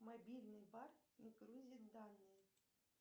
мобильный бар не грузит данные